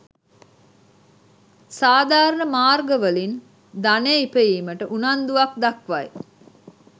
සාධාරණ මාර්ගවලින් ධනය ඉපයීමට උනන්දුවක්‌ දක්‌වයි.